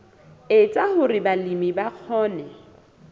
etsa hore balemi ba kgone